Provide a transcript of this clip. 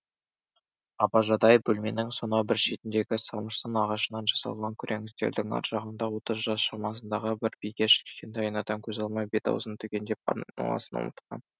абажадай бөлменің сонау бір шетіндегі самырсын ағашынан жасалған күрең үстелдің ар жағында отыз жас шамасындағы бір бикеш кішкентай айнадан көз алмай бет аузын түгендеп айналасын ұмытқан